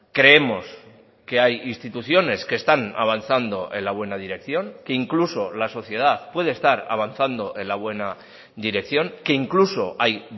creemos que hay instituciones que están avanzando en la buena dirección que incluso la sociedad puede estar avanzando en la buena dirección que incluso hay